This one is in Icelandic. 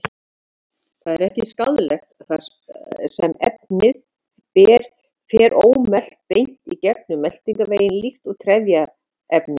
Það er ekki skaðlegt þar sem efnið fer ómelt beint gegnum meltingarveginn líkt og trefjaefni.